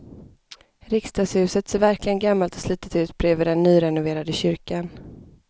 Riksdagshuset ser verkligen gammalt och slitet ut bredvid den nyrenoverade kyrkan.